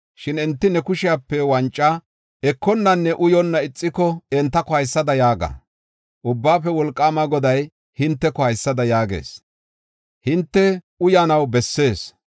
Shin enti ne kushepe wanca ekonnanne uyonna ixiko, entako haysada yaaga. ‘Ubbaafe Wolqaama Goday hinteko haysada yaagees: hinte uyanaw bessees.